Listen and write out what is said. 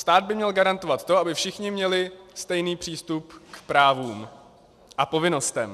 Stát by měl garantovat to, aby všichni měli stejný přístup k právům a povinnostem.